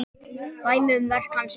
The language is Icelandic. Dæmi um verk hans eru